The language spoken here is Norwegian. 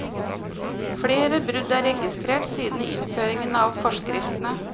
Flere brudd er registrert siden innføringen av forskriftene.